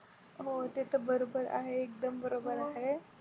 हो ते तर बरोबर आहे एकदम बरोबर आहे.